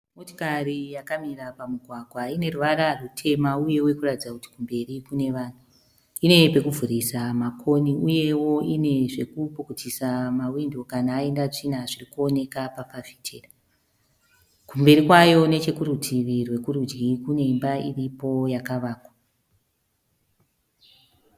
Motikari yakamira pamugwagwa ine ruvara rutema uyewo iri kuratidza kuti kumberi kune vanhu. Ine pokuvhurisa makoni uyewo ine zvokupukutisa mahwindo kana aenda tsvina zviri kuonekwa pafafitera. Kumberi kwayo nechokurutivi rokurudyi pane imba iripo yakavakwa.